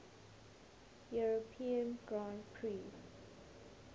european grand prix